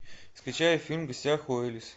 скачай фильм в гостях у элис